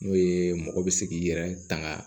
N'o ye mɔgɔ bɛ se k'i yɛrɛ tanga